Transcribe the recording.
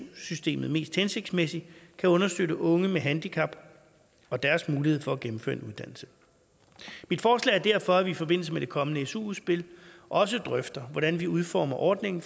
systemet mest hensigtsmæssigt kan understøtte unge med handicap og deres mulighed for at gennemføre en uddannelse mit forslag er derfor at vi i forbindelse med det kommende su udspil også drøfter hvordan vi udformer ordningen